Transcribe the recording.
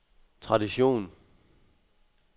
tradition